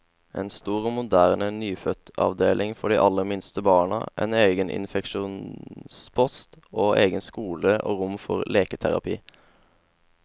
En stor og moderne nyfødtavdeling for de aller minste barna, en egen infeksjonspost, og egen skole og rom for leketerapi.